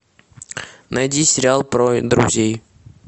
найди сериал про друзей